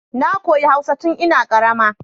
Na koyi hausa tun ina karama